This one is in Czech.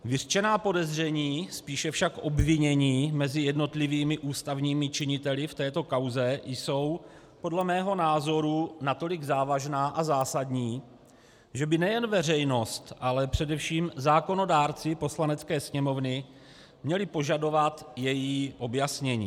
Vyřčená podezření, spíše však obvinění mezi jednotlivými ústavními činiteli v této kauze jsou podle mého názoru natolik závažná a zásadní, že by nejen veřejnost, ale především zákonodárci Poslanecké sněmovny měli požadovat její objasnění.